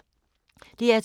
DR2